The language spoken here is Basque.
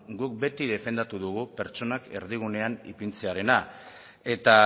guk beti defendatu dugu pertsonak erdigunean ipintzearena eta